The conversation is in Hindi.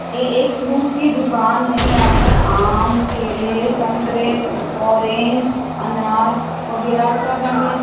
ये एक फ्रूट की दुकान है यहां पर आम केले संतरे ऑरेंज अनार वगैरा --